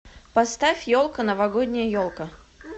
поставь елка новогодняя елка